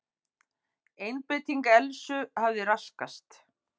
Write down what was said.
Einbeiting Elsu hafði raskast.